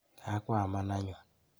Kakwaman anyun.